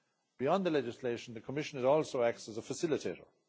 Beyond the legislation, the Commission also acts as a facilitator.